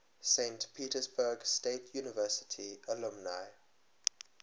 saint petersburg state university alumni